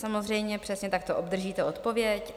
Samozřejmě přesně takto obdržíte odpověď.